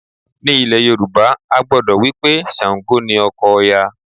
Ní ilẹ̀ Yorùbá, a gbàgbọ́ wí pé Ṣàǹgò ni ọkọ Òya